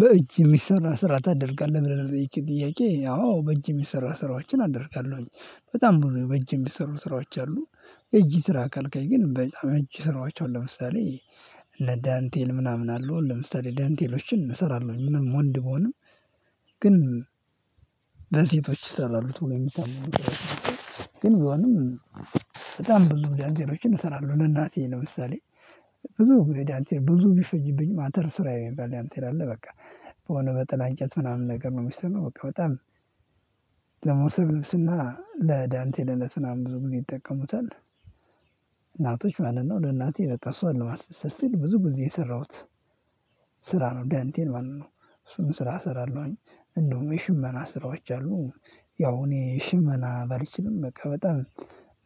በእጅ የሚሰራ ስራ ታደርጋለህ ብለህ ለጠየቀኝ ጥያቄ አዎ በእጅ የሚሰራ ስራዎችን አደርጋለሁኝ በጣም ብዙ በእጅ የሚሰሩ ስራዎች አሉ። እጅ ስራ ካልከኝ ግን በጣም እጅ ስራዎች አሉ። ለምሳሌ ለዳንቴል ምናምን አለው ለምሳሌ ዳንቴሎችን እሰራለሁኝ ምንም ወንድ ቢሆንም ግን ለሴቶች ይሰራሉ ትምህርት ግን ቢሆንም ብዙ ዳንቴሎችን እሰራለሁ። ለእናቴ ለምሳሌ ብዙ የዳንቴል ብዙ ቢፈጅብኝ ማተር ስራ ይባላል ያንተ ይላል በቃ በሆነ በጥላ እንጨት ምናምን ነገር ነው። የሚሰማው በቃ በጣም ደግሞ ስለ ልብስና ለዳንቴልነት ምናምን ብዙ ጊዜ ይጠቀሙታል እናቶች ማለት ነው። ለእናቴ በቃ እሷን ለማስደሰት ስል ብዙ ጊዜ የሰራሁት ስራ ነው ዳንቴል ማለት ነው። እሱን ስራ እሰራለሁኝ እንደውም የሽመና ስራዎች አሉ። ያው እኔ ሽመና ባልችልም በቃ በጣም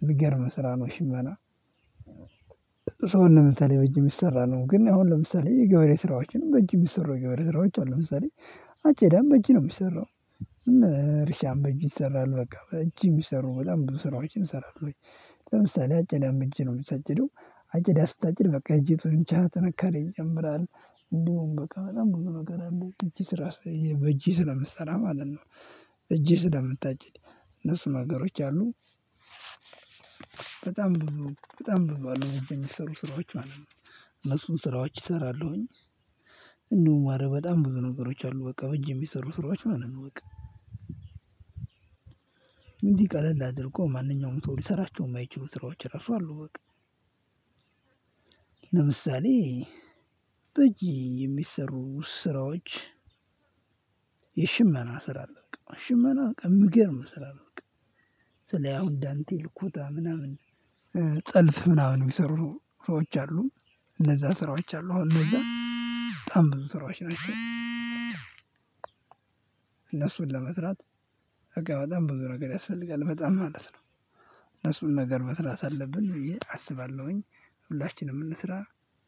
ምገርም ስራ ነው ሽመና። ሰው ለምሳሌ በእጅ የምሰራ ነው ግን አሁን ለምሳሌ የገበሬ ስራዎችን በእጅ የሚሰሩ ገበሬ ስራዎች አሉ። ለምሳሌ አቼ ዳም በእጅ ነው የሚሰሩት እርሻም በእጅ ይሰራል በቃ በእጅ የሚሰሩ በጣም ብዙ ስራዎችን ይሰራሉ። ለምሳሌ አጨዳም በእጅ ነው የሚታጭደው አጨዳ ስታጭድ በቃ እጅ ጡንቻህ ጥንካሬ ይጨምራል። እንደውም በቃ በጣም ብዙ ነገር አለ እጅ ስራ በእጅህ ስለምትሰራ ማለት ነው። እጅህ ስለምታጭድ እነሱ ነገሮች አሉ። በጣም ብዙ በጣም ብዙ አሉ በእጅ የሚሰሩ ስራዎች ማለት ነው። እነሱን ስራዎች እሰራለሁኝ አረ በጣም ብዙ ነገሮች አሉ በቃ በጅ የሚሰሩ ስራዎች ማለት ነው። በቃ ቀለል አድርጎ ማንኛውም ሰው ሊሰራቸው የማይችሉ ስራዎች እራሱ አሉ። በቃ ለምሳሌ በእጅ የሚሰሩ ስራዎች የሽመና ስራ አለ በቃ ሽመና የምገርም ስራ ነው። በቃ ስልህ አሁን ዳንቴል ኩታ ምናምን ጥልፍ ምናምን የሚሰሩ ሰዎች አሉ። እነዛ ስራዎች አሉ አሁን እነዛ በጣም ብዙ ስራዎች ናቸው። እነሱን ለመትራት በቃ በጣም ብዙ ነገር ያስፈልጋል በጣም ማለት ነው። እነሱን ነገር መስራት አለብን ብዬ አስባለሁኝ ሁላችንም እንስራ።